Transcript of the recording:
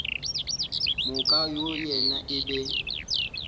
moka go yena e be